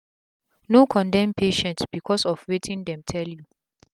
no condem patient becos of wetin dem tell u